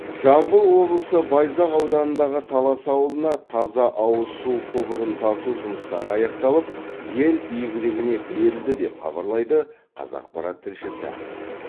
жамбыл облысы байзақ ауданындағы талас ауылына таза ауыз су құбырын тарту жұмыстары аяқталып ел игілігіне берілді деп хабарлайды қазақпарат тілшісі